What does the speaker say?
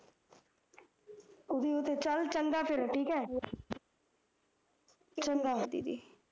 ਉਹਦੀ ਉਹਤੇ ਚੱਲ ਚੰਗਾ ਫਿਰ ਠੀਕ ਐ